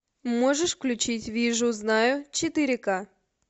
можешь включить вижу знаю четыре ка